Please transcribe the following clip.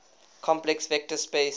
complex vector space